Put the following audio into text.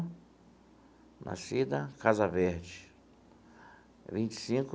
Nascida, Casa Verde vinte e cinco.